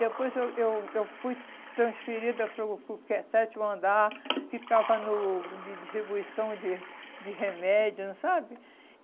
Depois eu eu eu fui transferida para o para o que é sétimo andar, ficava no de distribuição de de remédios, não sabe?